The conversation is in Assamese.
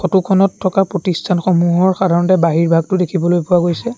ফটোখনত থকা প্ৰতিষ্ঠানসমূহৰ সাধাৰণতে বহিৰভাগটো দেখিবলৈ পোৱা গৈছে।